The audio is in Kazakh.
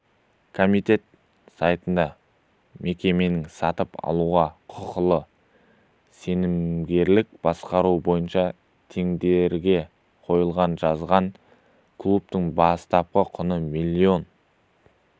комитет сайтында мекеменің сатып алуға құқылы сенімгерлік басқару бойынша тендерге қойылғаны жазылған клубтың бастапқы құны миллион